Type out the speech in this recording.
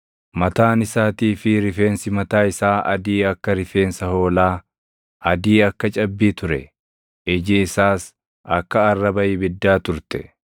Mataan isaatii fi rifeensi mataa isaa adii akka rifeensa hoolaa, adii akka cabbii ture; iji isaas akka arraba ibiddaa turte.